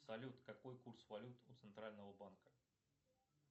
салют какой курс валют у центрального банка